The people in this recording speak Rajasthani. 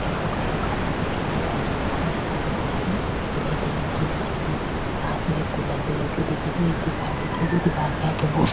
इको कलर कालो दिख रो आगे कुर्सियां दिख री कुर्सियां सिलेटी रंग की दिख री पास में एक कूलर भी लगो दिख रो एक दिवार दिख री दीवार के आगे --